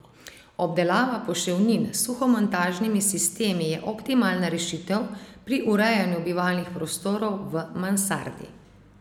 Obdelava poševnin s suhomontažnimi sistemi je optimalna rešitev pri urejanju bivalnih prostorov v mansardi.